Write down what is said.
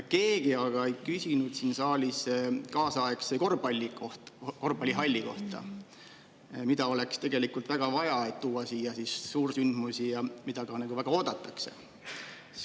Keegi aga ei küsinud siin saalis kaasaegse korvpallihalli kohta, mida oleks väga vaja, et tuua siia suursündmusi, ja mida väga oodatakse.